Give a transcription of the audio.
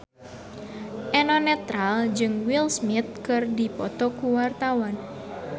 Eno Netral jeung Will Smith keur dipoto ku wartawan